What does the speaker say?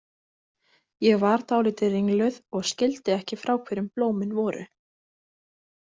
Ég var dálítið ringluð og skildi ekki frá hverjum blómin voru.